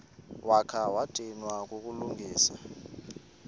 wakha wadinwa kukulungisa